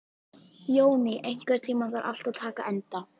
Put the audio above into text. Jóný, einhvern tímann þarf allt að taka enda.